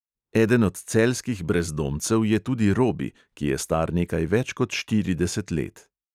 Eden od celjskih brezdomcev je tudi robi, ki je star nekaj več kot štirideset let.